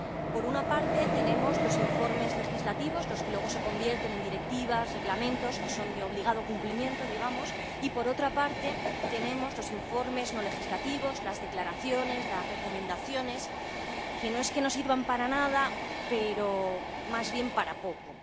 Por una parte, tenemos los informes legislativos, los que luego se convierten en directivas, reglamentos, que son de obligado cumplimiento, digamos, y, por otra parte, tenemos los informes no legislativos, las declaraciones, las recomendaciones, que no es que no sirvan para nada, pero más bien para poco.